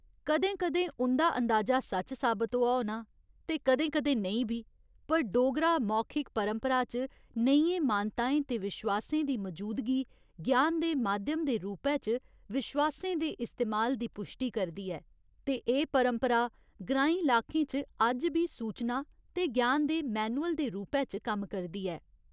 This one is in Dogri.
कदें कदें उं'दा अंदाजा सच्च साबत होआ होना ते कदें कदें नेईं बी, पर डोगरा मौखिक परंपरा च नेहियें मानताएं ते विश्वासें दी मजूदगी ज्ञान दे माध्यम दे रूपै च विश्वासें दे इस्तेमाल दी पुश्टी करदी ऐ ते एह् परंपरा ग्रांईं लाकें च अज्ज बी सूचना ते ज्ञान दे मैन्युल दे रूपै च कम्म करदी ऐ।